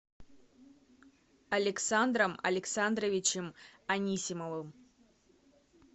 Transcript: александром александровичем анисимовым